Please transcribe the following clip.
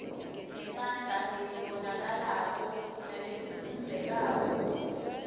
ngesandla lesibonakalako nalesifundzekako